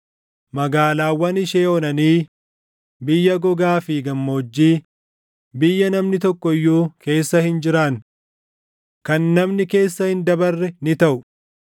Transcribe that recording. Magaalaawwan ishee onanii biyya gogaa fi gammoojjii, biyya namni tokko iyyuu keessa hin jiraanne, kan namni keessa hin dabarre ni taʼu.